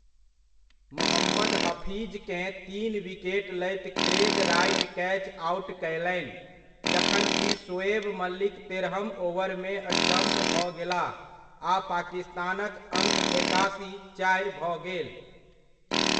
मोहम्मद हफीजकेँ तीन विकेट लैत क्रेग राइट कैच आउट कयलनि, जखन कि शोएब मलिक तेरहम ओवरमे स्टम्प भऽ गेलाह आ पाकिस्तानक अङ्क एकासी, चारि भऽ गेल।